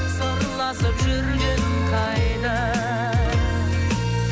сырласып жүргенің қайда